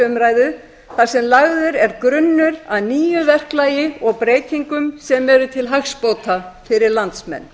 umræðu þar sem lagður er grunnur að nýju verklagi og breytingum sem eru til hagsbóta fyrir landsmenn